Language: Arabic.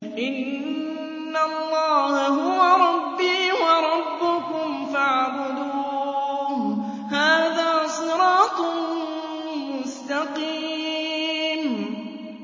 إِنَّ اللَّهَ هُوَ رَبِّي وَرَبُّكُمْ فَاعْبُدُوهُ ۚ هَٰذَا صِرَاطٌ مُّسْتَقِيمٌ